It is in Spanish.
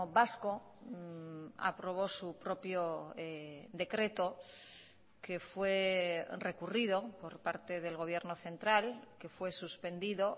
vasco aprobó su propio decreto que fue recurrido por parte del gobierno central que fue suspendido